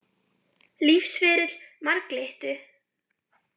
Lífsferill marglyttu.